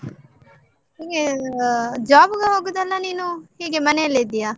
ನಿಂಗೆ ಆಹ್ job ಗೆ ಹೋಗುದಾ ಅಲ್ಲಾ ನೀನು, ಹೀಗೆ ಮನೆಲ್ಲೇ ಇದ್ದೀಯಾ?